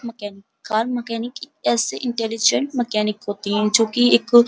mechanic car mechanic ऐसे intelligent mechanic होती है जो कि एक --